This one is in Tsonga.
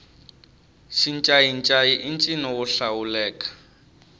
xincayincayi i ncino wo hlawuleka